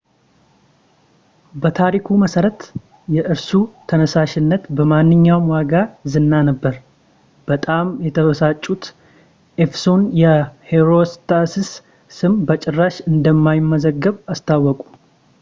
በታሪኩ መሠረት የእርሱ ተነሳሽነት በማንኛውም ዋጋ ዝና ነበር በጣም የተበሳጩት ኤፌሶን የሂሮስትራስስ ስም በጭራሽ እንደማይመዘገብ አስታወቁ